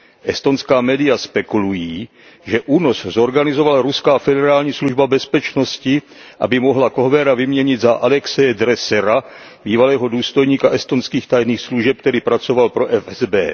Estonská media spekulují, že únos zorganizovala ruská Federální služba bezpečnosti, aby mohla Kohvera vyměnit za Alexeje Dressera, bývalého důstojníka estonských tajných služeb, který pracoval pro FSB.